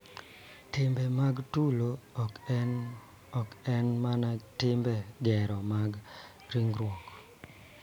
Timbe mag tulo e ot ok en mana tim gero mag ringruok .